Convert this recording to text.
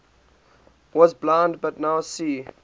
was blind but now see